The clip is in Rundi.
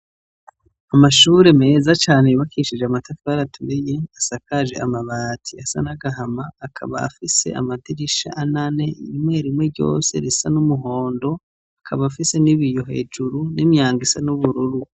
Amashure meza cane yubakishije amatafari aturiye, asakaje amabati asa nagahama akaba afise amadirisha ane ane rimwe rimwe ryose risa n’umuhondo, akaba afise ibiyo hejuru n’imyango isa n'ubururu.